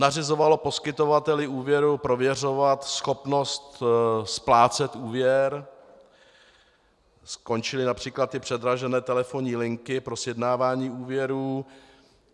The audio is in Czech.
Nařizovalo poskytovateli úvěru prověřovat schopnost splácet úvěr, skončily například ty předražené telefonní linky pro sjednávání úvěrů.